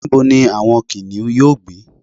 níbo ni àwọn kìnìún yíò gbé